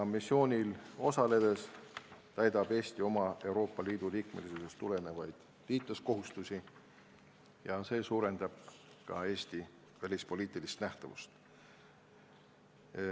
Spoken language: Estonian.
Missioonil osaledes täidab Eesti oma Euroopa Liidu liikmesusest tulenevaid liitlaskohustusi ja see suurendab ka Eesti välispoliitilist nähtavust.